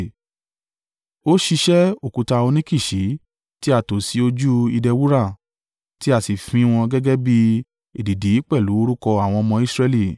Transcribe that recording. Ó ṣiṣẹ́ òkúta óníkìsì tí a tò sí ojú ìdè wúrà, tí a sì fín wọn gẹ́gẹ́ bí èdìdì pẹ̀lú orúkọ àwọn ọmọ Israẹli.